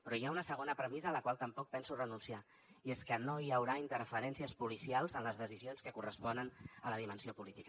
però hi ha una segona premissa a la qual tampoc penso renunciar i és que no hi haurà interferències policials en les decisions que corresponen a la dimensió política